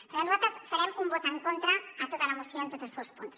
per tant nosaltres farem un vot en contra a tota la moció en tots els seus punts